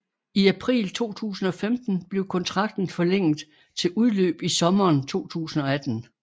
I april 2015 blev kontrakten forlænget til udløb i sommeren 2018